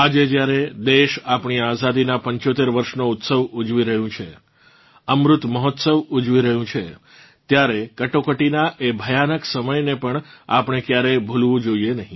આજે જ્યારે દેશ આપણી આઝાદીનાં 75 વર્ષનો ઉત્સવ ઊજવી રહ્યું છે અમૃત મહોત્સવ ઊજવી રહ્યું છે ત્યારે કટોકટીનાં એ ભયાનક સમયને પણ આપણે ક્યારેય ભૂલવું ના જોઇએ